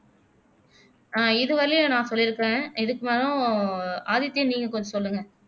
அஹ் இது வரஒய்யிலும் நான் சொல்லிருக்குறேன் இதுக்கு மேல ஒ ஆதித்யா நீங்க கொஞ்சம் சொல்லுங்க